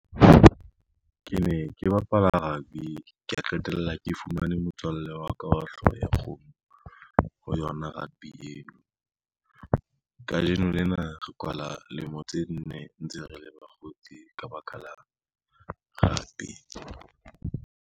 Ke ne ke bapala rugby, kea qetella ke fumane motswalle wa ka wa hlooho ya kgomo ho yona rugby eo. Kajeno lena re kwala lemo tse nne ntse re le bakgotsi ka baka la rugby.